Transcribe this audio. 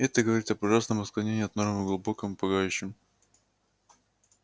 это говорит об ужасном отклонений от нормы глубоком пугающем